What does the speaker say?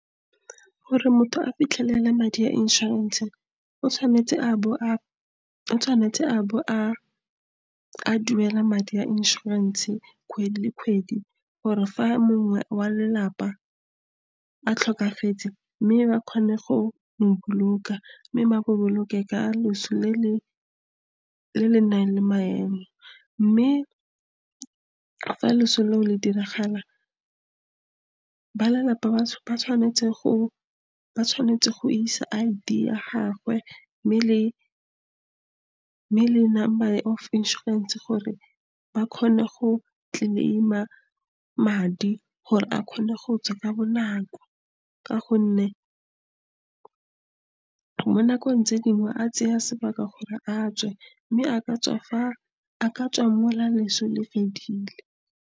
Gore motho a fitlhelele madi a inšorense, o tshwanetse a bo a duela madi a inšorense kgwedi le kgwedi or fa mongwe wa lelapa a tlhokafetse, mme ba kgone go mo boloka, mme ba mo boloke ka loso le le nang le maemo. Mme fa leso leo le diragala, ba lelapa ba tshwanetse go isa I_D ya gagwe, mme le number of inšorense gore ba kgone go claim-a madi, gore a kgone go tswa ka bonako, ka gonne mo nakong tse dingwe a tsaya sebaka gore a tswe, mme a ka tswa leso le fedile.